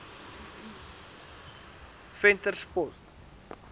venterspost